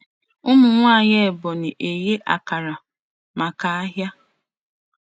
Ụmụnwaanyị ebonyi eghe akara maka ahịa.